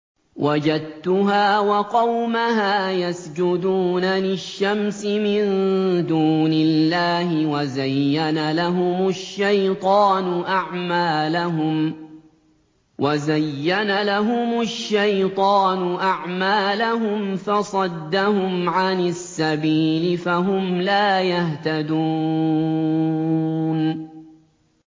وَجَدتُّهَا وَقَوْمَهَا يَسْجُدُونَ لِلشَّمْسِ مِن دُونِ اللَّهِ وَزَيَّنَ لَهُمُ الشَّيْطَانُ أَعْمَالَهُمْ فَصَدَّهُمْ عَنِ السَّبِيلِ فَهُمْ لَا يَهْتَدُونَ